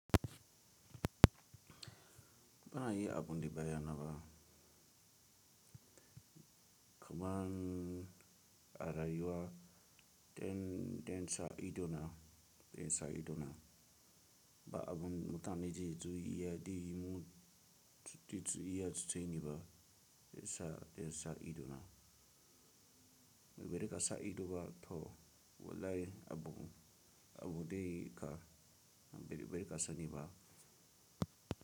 Bana yi abun da baya naba, kuman a rayuwa irin ɗan sa idonan ɗan sa idonnan ba abun mutane je zu iya di mu titi zu iya cuce ni ba ɗan sa ɗan sa idona. Idan baka sa ido ba to wallahi abun abun de ka bazaka ka sani ba.